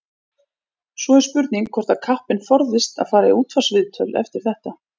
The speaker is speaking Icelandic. Svo er spurning hvort að kappinn forðist að fara í útvarpsviðtöl eftir þetta.